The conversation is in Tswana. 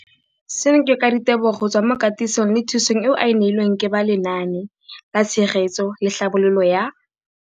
Seno ke ka ditebogo go tswa mo katisong le thu song eo a e neilweng ke ba Lenaane la Tshegetso le Tlhabololo ya